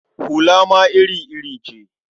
Hula ma iri-iri ce.